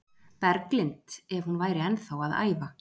Berglind ef hún væri ennþá að æfa.